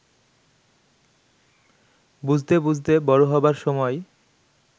বুঝতে বুঝতে বড় হবার সময়